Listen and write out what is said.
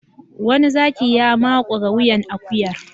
Wani zaki ya makure wuyan akuyar.